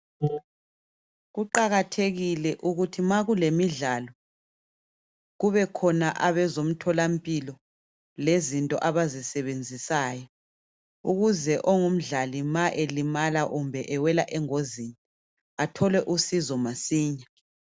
Kuqakathekile ukuthi ma kulemidlalo kubukhona abezomtholampilo lezinto abazisebenzisayo ukuze ongumdlali nxa elimala kumbe ewela engozini athole usizo masinya.